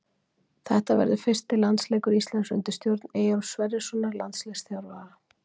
Þetta verður fyrsti landsleikur Íslands undir stjórn Eyjólfs Sverrissonar landsliðsþjálfara.